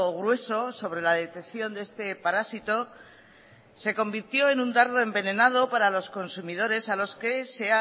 grueso sobre la detección de este parásito se convirtió en un dardo envenenado para los consumidores a los que se